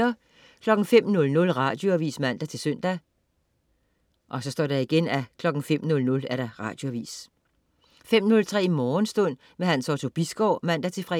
05.00 Radioavis (man-søn) 05.00 Radioavis 05.03 Morgenstund. Hans Otto Bisgaard (man-fre)